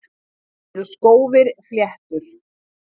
Eru skófir fléttur?